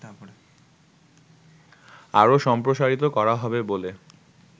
আরো সম্প্রসারিত করা হবে বলে